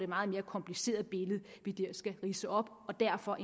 meget mere kompliceret billede vi der skal ridse op og derfor